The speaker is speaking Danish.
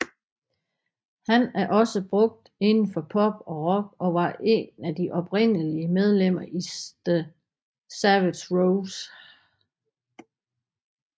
Han er også brugt inden for pop og rock og var et af de oprindelige medlemmer i The Savage Rose